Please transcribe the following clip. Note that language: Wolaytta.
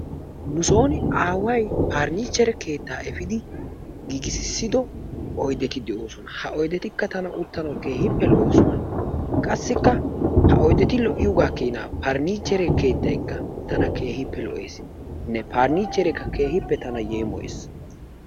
Nusooni aaway parniichere keettaa efiidi giigisissido oydeti de'oosona. Ha oydetikka tana utanawu keehippe lo'oosona. Qassikka ha oydeti lo'iyoogaa keenaa tana parniicheree keettay lo'eesinne parniichere keehippe tana yeemoyees.